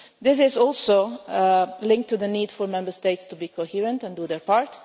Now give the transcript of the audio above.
This is also linked to the need for Member States to be coherent and do their